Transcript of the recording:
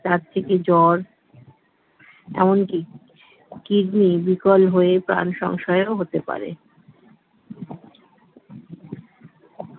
তার থেকে জ্বর এমনকি kidney বিকল হয়ে প্রাণ সংশয়ও হতে পারে